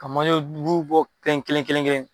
Ka manje bɔ kelen kelen kelen kelen.